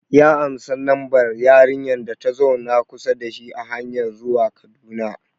Ya ansa lambar yarinyar data zauna kusa da shi a hanyar zuwa Kaduna